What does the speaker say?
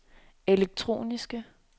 elektroniske